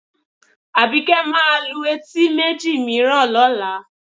Àbíkẹ́ máa lu etí méjì mìíràn lọ́la